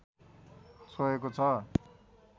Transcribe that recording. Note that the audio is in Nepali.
छोएको छ